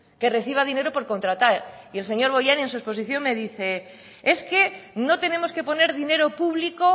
que reciba dinero por contratar y el señor bollain en su exposición me dice es que no tenemos que poner dinero público